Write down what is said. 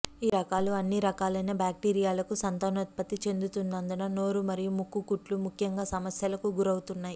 ఈ రకాలు అన్ని రకాలైన బ్యాక్టీరియాలకు సంతానోత్పత్తి చెందుతున్నందున నోరు మరియు ముక్కు కుట్లు ముఖ్యంగా సమస్యలకు గురవుతాయి